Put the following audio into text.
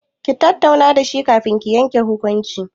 Ku tattauna da shi kafin ki yanke hukunci.